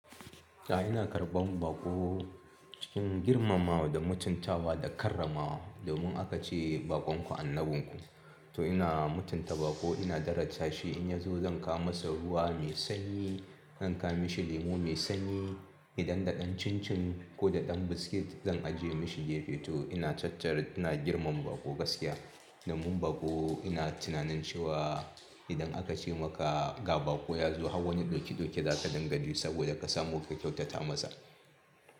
A ina karɓan baƙo, cikin girmamawa da mutuntawa da karramawa. Domin aka ce baƙon ku annabin ku. To ina mutunta baƙo, ina daraja shi. In ya zo zan ka masa ruwa mai sanyi, zan ka mishi lemo me sanyi, idan da ɗan cin cin ko da ɗan biskit zan ajiye mashi gefe. To ina tattari, ina girmama baƙo gaskiya. Domin baƙo ina tunanin cewa idan aka ce maka ga baƙo ya zo, hau wani ɗauki ɗauki za ka dinga ji saboda ka samu kyautata masa.